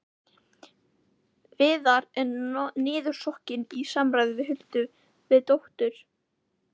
Viðar er niðursokkinn í samræður við Huldu, við dóttur